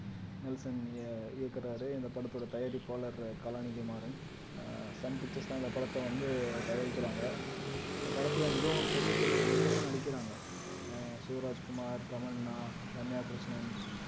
Nelson இய இயக்குறாரு இந்த படத்தோட தயாரிப்பாளர் கலாநிதி மாறன் ஆஹ் சன் பிக்ச்சர்ஸ் தான் இந்த படத்த வந்து தயாரிக்கிறாங்க இந்த படத்துல மிகவும் பெரிய பெரிய நடிகர் எல்லாம் நடிக்கிறாங்க ஆஹ் சிவராஜ் குமார், தமன்னா, ரம்யா கிருஷ்ணன்